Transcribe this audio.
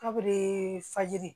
Kabe fajiri